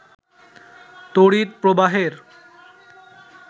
তড়িৎ প্রবাহের